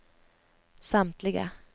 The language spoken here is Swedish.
samtliga